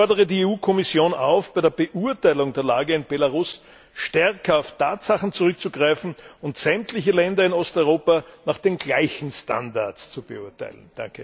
Ich fordere die Kommission auf, bei der Beurteilung der Lage in Belarus stärker auf Tatsachen zurückzugreifen und sämtliche Länder in Osteuropa nach den gleichen Standards zu beurteilen!